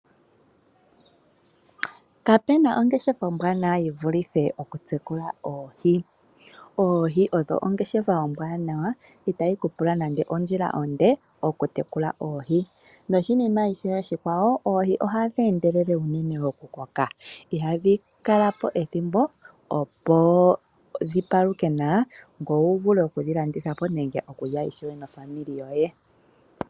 Kapuna ongeshefa ombwaanawa yivulithe okutekula oohi . Oohi odho ongeshefa ombwaanawa itayi ku pula nande ondjila onde okutekula oohi. Noshinima ishewe oshikwawo, oohi ohadhi endelele unene okukoka. Ihadhi kalapo ethimbo dhipaluke, ngoye wuvule okudhilandithapo nenge okulya naakwanezimo lyoye.